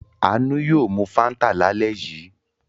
Àánú yóò Fanta lálẹ́ yìí.